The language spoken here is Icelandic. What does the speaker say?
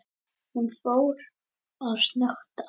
Hún fór að snökta.